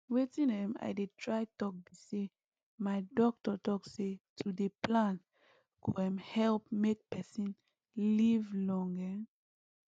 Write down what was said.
wetin um i dey try talk be say my doctor talk say to dey plan go um help make person live long um